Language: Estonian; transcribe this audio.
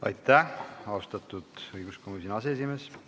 Aitäh, austatud õiguskomisjoni aseesimees!